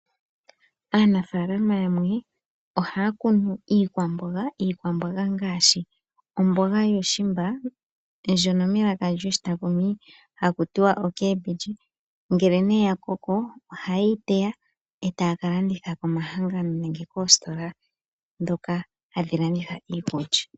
Aanafaalama yamwe ohaya kunu iikwamboga, iikwamboga ngaashi omboga yuushimba ndjono melaka lyoshitakumi hakutiwa ocabbage, ngele nee ya koko oha yeyi teya eta yakalanditha koma hangano nenge koositola ndhoka hadhi landitha iikulya.